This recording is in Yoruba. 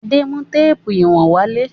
Adé mú téépù ìwọ̀n wálé.